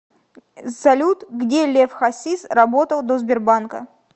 салют где лев хасис работал до сбербанка